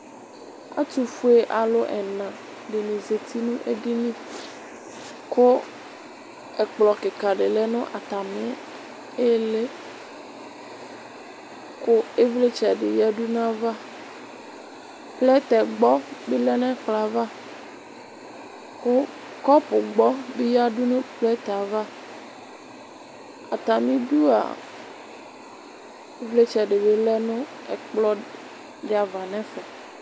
Atufue alʋ ɛna dini zati n'edini kʋ ɛkplɔ kika di lɛ n'atami ihili kʋ ivlitsɛ bi yǝdu n'ayava Plɛtɛgbɔ bi lɛ n'ɛplɔ yɛ avakʋ kɔpugbɔ bi yǝdʋ nʋ plɛtɛ ava Atamidu a ivlitsɛ dibi lɛ nʋ ɛkplɔ di ava n'ɛfɛ